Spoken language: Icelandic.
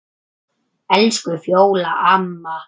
Elsku Fjóla amma.